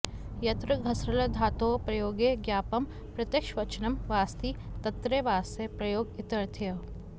यत्र घस्लृधातोः प्रयोगे ज्ञापकं प्रत्यक्षवचनं वास्ति तत्रैवास्य प्रयोग इत्यर्थः